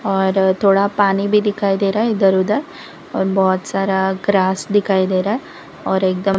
और थोड़ा पानी भी दिखाई दे रहा है इधर उधर और बहुत सारा ग्रास दिखाई दे रहा है और एकदम--